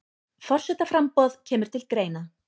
Forsetaframboð kemur til greina